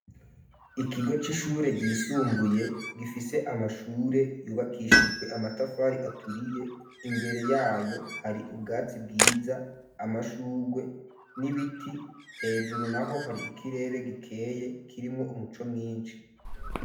Ikigo c'ishure ry’isumbuye gifise amashure yubakishijwe amatafari aturiye imbere yayo hari ubwatsi bwiza amashurwe n'ibiti hejuru naho hari ikirere gikeye kirimwo umuco mwinshi.